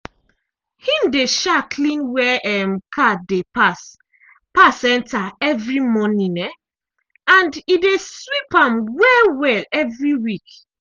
him dey um clean where um car dey pass pass enter evri morning um and e dey sweep am well-well evri week.